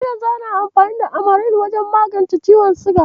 Har yanzu ana amfani da Amaril wajen magance ciwon siga.